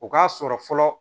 O k'a sɔrɔ fɔlɔ